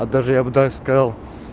даже я бы даже сказал